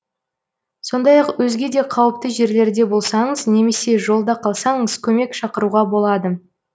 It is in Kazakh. сондай ақ өзге де қауіпті жерлерде болсаңыз немесе жолда қалсаңыз көмек шақыруға болады